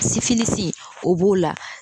o b'o la